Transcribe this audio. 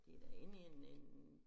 Det da inde i en en